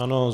Ano.